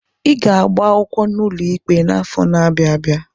I ga-agba akwụkwọ n'ụlọ ikpe n'afọ n'abia abịa!